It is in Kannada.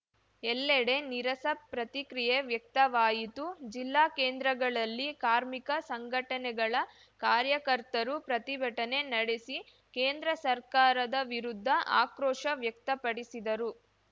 ಎಲ್ಲೆಡೆ ನೀರಸ ಪ್ರತಿಕ್ರಿಯೆ ವ್ಯಕ್ತವಾಯಿತು ಜಿಲ್ಲಾ ಕೇಂದ್ರಗಳಲ್ಲಿ ಕಾರ್ಮಿಕ ಸಂಘಟನೆಗಳ ಕಾರ್ಯಕರ್ತರು ಪ್ರತಿಭಟನೆ ನಡೆಸಿ ಕೇಂದ್ರ ಸರ್ಕಾರದ ವಿರುದ್ಧ ಆಕ್ರೋಶ ವ್ಯಕ್ತಪಡಿಸಿದರು